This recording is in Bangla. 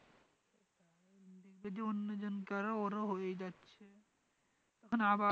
এইযে অন্য জনকে আরও ওরো হয়ে যাচ্ছে তখন আবার